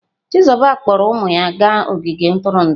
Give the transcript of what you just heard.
Chizuba kpọọrọ ụmụ ya gaa ogige ntụrụndụ.